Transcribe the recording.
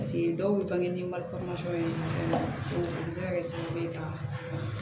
dɔw bɛ bange ye a bɛ se ka kɛ sababu ye ka